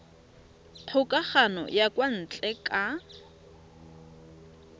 kgokagano ya kwa ntle ka